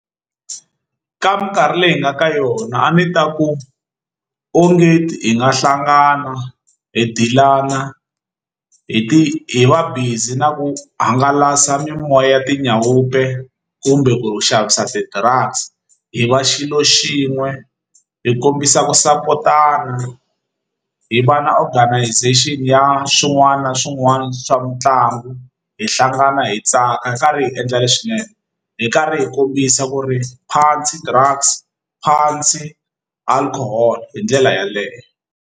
Ka minkarhi leyi hi nga ka yona a ni ta ku onge hi nga hlangana hi deal-ana hi ti hi va busy na ku hangalasa mimoya ya tinyawa pay kumbe ku xavisa ti-drugs hi va xilo xin'we hi kombisa ku support-ana hi va na organization ya swin'wana na swin'wana swa mitlangu hi hlangana hi tsaka hi karhi hi endla leswinene hi karhi hi kombisa ku ri phandzi drugs phandzi alcohol hi ndlela yeleyo.